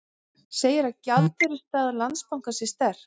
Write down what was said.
Segir að gjaldeyrisstaða Landsbankans sé sterk